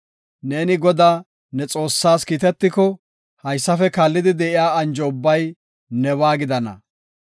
Neeni Godaa, ne Xoossaas kiitetiko, haysafe kaallidi de7iya anjo ubbay nebaa gidana.